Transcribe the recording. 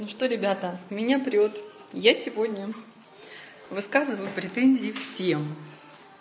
ну что ребята меня прёт я сегодня высказываю претензии всем